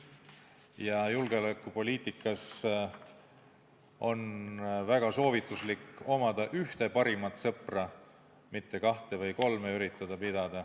Ja julgeolekupoliitikas on soovitatav omada ühte parimat sõpra, mitte üritada pidada kahte või kolme.